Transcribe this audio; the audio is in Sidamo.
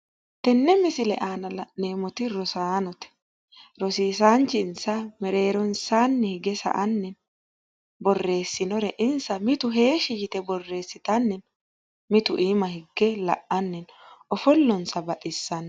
Tenne misile aana la'neemmoti rosaanote rosisaanchinsa mereeronsaanni hige sa"anni borreessinore insa mitu heeshshi yite borreessitanna miitu iima hige la"anni no ofollonsa baxissanno.